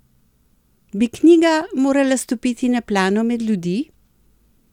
Bi knjiga morala stopiti na plano med ljudi?